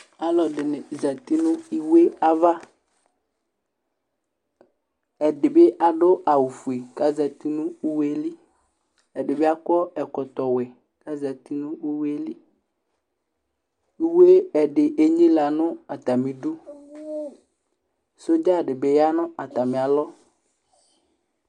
Alɔ ɛdɩnɩ zati nʋ iwe avaƐdɩ bɩ adʋ awʋ fue ka zati nʋ iwe li, ɛdɩ bɩ akɔ ɛkɔtɔ wɛ ka zati nʋ uwe liUwe ɛdɩ enyilǝ nʋ atamɩ idu; zɔdza dɩ bɩ ya nʋ atamɩ alɔ